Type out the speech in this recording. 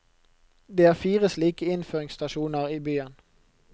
Det er fire slike innføringsstasjoner i byen.